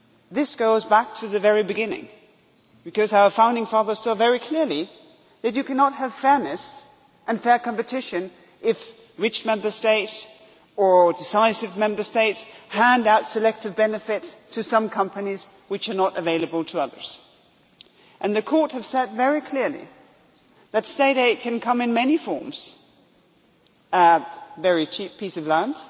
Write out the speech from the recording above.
This goes back to the very beginning, because our founding fathers saw very clearly that you cannot have fairness and fair competition if rich Member States or decisive Member States hand out selective benefits to some companies which are not available to others. The courts have said very clearly that State aid can come in many forms it can be a very cheap piece of